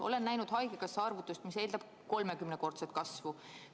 Olen näinud haigekassa arvutust, mis eeldab kolmekümnekordset kasvu.